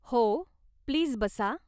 हो, प्लीज बसा.